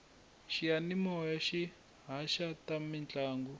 xiyamimoya xi haxa ta mintlangu